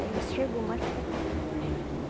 Aí ele chegou mais para cá.